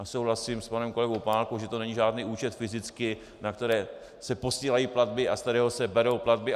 A souhlasím s panem kolegou Opálkou, že to není žádný účet fyzicky, na který se posílají platby a ze kterého se berou platby.